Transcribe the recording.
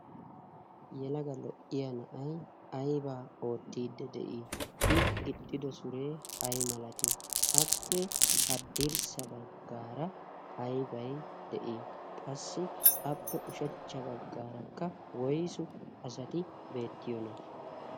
yelaga lo'iya na'ay aybaa oottiidi de'ii? I gixxido suree ay malatii? appe haddirssa baggaara aybay de'ii? qassi appe ushachcha baggaarakka woysu asati beettiyoona?